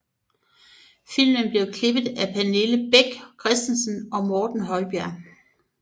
Filmen blev klippet af Pernille Bech Christensen og Morten Højbjerg